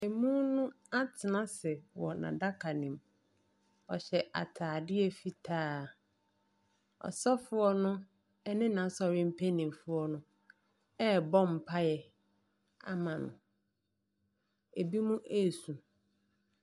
Emun no atsena ase wɔ n'adaka no mu ɔhyɛ atadeɛ fitaa ɔsɔfɔo no ɛne n'asɔre mpayimfɔo no ɛbɔ mpae ama no ebinom esu.